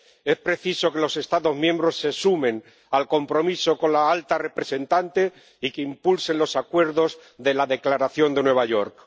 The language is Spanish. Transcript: Es preciso que los Estados miembros se sumen al compromiso con la alta representante y que impulsen los acuerdos de la Declaración de Nueva York.